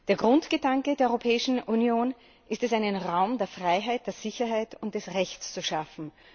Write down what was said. Der Grundgedanke der Europäischen Union ist es, einen Raum der Freiheit, der Sicherheit und des Rechts zu schaffen.